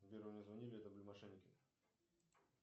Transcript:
сбер мне звонили это были мошенники